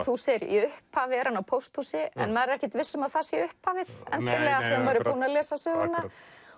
þú segir í upphafi er hann á pósthúsi en maður er ekkert viss um að það sé upphafið endilega þegar maður er búinn að lesa söguna